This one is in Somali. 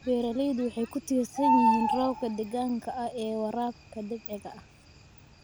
Beeraleydu waxay ku tiirsan yihiin roobka deegaanka ee waraabka dabiiciga ah.